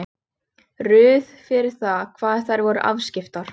Bláa emaleraða vaskafatið undir lekann í horninu við gluggann.